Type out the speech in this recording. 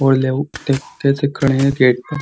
देख कैसे खड़े हैं गेट पे।